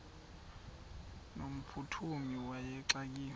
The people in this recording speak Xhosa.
no mphuthumi wayexakiwe